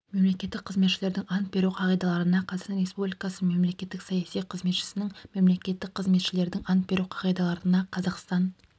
мемлекеттік қызметшілердің ант беру қағидаларына қазақстан республикасы мемлекеттік саяси қызметшісінің мемлекеттік қызметшілердің ант беру қағидаларына қазақстан